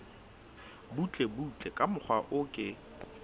butlebutle ka mokgwa o ke